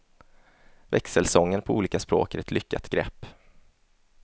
Växelsången på olika språk är ett lyckat grepp.